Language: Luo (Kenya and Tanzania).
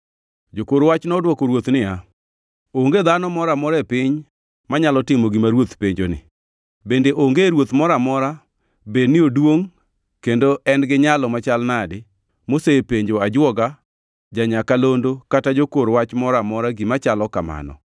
Jokor wach nodwoko ruoth niya, “Onge dhano moro amora e piny manyalo timo gima ruoth penjoni! Bende onge ruoth moro amora, bed ni oduongʼ kendo en gi nyalo machal nadi, mosepenjo ajwoga, ja-nyakalondo kata jakor wach moro amora gima chalo kamano.